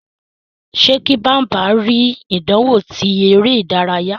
Ṣe kí Bambam ri ìdánwò ti eré ìdárayá.